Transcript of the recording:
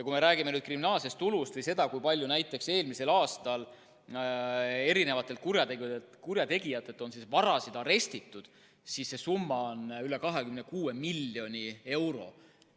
Kui me räägime kriminaalsest tulust või sellest, kui palju näiteks eelmisel aastal kurjategijate vara on arestitud, siis see summa on üle 26 miljoni euro.